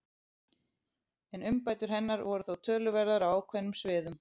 En umbætur hennar voru þó töluverðar á ákveðnum sviðum.